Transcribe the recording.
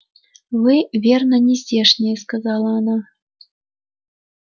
вы верно не здешние сказала она